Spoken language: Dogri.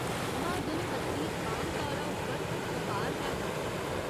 म्हाजन खत्तरी आमतौरा उप्पर बपार गै करदे न।